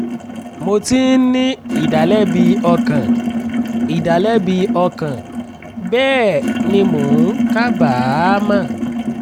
mò ti ń ní ìdálẹ́bi ọkàn ìdálẹ́bi ọkàn bẹ́ẹ̀ ni mò ń kábàámọ̀